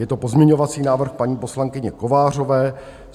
Je to pozměňovací návrh paní poslankyně Kovářové.